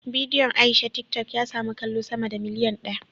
Bidiyon Aisha tiktok ya samu kallo sama da miliyan daya